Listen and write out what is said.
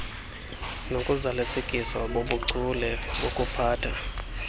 nokuzalisekiswa bobuchule bokuphatha